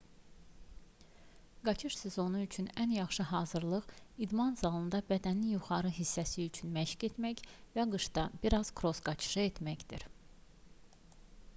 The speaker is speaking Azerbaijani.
qaçış sezonu üçün ən yaxşı hazırlıq idman zalında bədənin yuxarı hissəsi üçün məşq etmək və qışda bir az kross qaçışı etməkdir